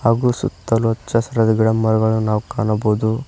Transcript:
ಹಾಗೂ ಸುತ್ತಲು ಹಚ್ಚಹಸಿರಾದ ಗಿಡಮರಗಳನ್ನು ನಾವು ಕಾಣಬಹುದು.